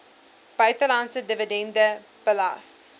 buitelandse dividende belas